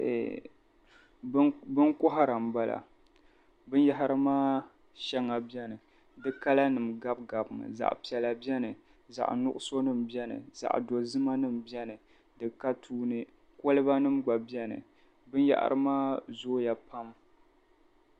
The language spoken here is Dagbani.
Eeh binkɔhira m-bala. Binyɛhari maa shɛŋa beni di kalanima gabigabimi zaɣ' piɛla beni zaɣ' nuɣisonima beni zaɣ' dozimanima beni di ka tuuni kolibanima gba beni. Binyɛhari maa zooya pam.